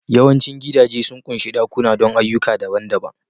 Yawancin gidaje sun ƙunshi ɗakuna don ayyuka daban-daban